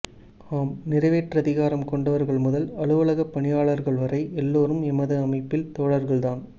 ஆம் நிறைவேற்றதிகாரம் கொண்டவர்கள் முதல் அலுவலகப் பணியாளர்கள் வரை எல்லோரும் எமது அமைப்பில் தோழர்கள்தான்